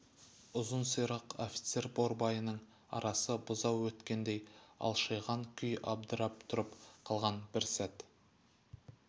ұзын сирақ офицер борбайының арасы бұзау өткендей алшиған күй абдырап тұрып қалған бір сәт